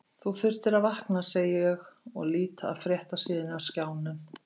Þú þurftir að vakna, segi ég og lít af fréttasíðunni á skjánum.